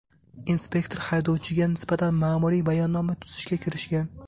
Inspektor haydovchiga nisbatan ma’muriy bayonnoma tuzishga kirishgan.